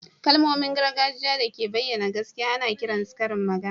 Kalmomin gargajiya da ke bayyana gaskiya ana kiran su karin magana